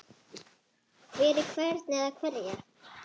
Fyrir hvern eða hverja?